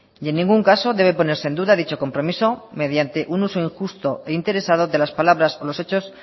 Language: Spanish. y en ningún caso debe ponerse en duda dicho compromiso mediante un uso injusto e interesado de las palabras con los hechos